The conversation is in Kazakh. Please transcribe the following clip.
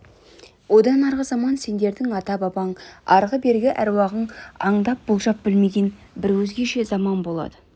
одан арғы заман сендердің ата-бабаң арғы-бергі әруағың аңдап болжап білмеген бір өзгеше заман болады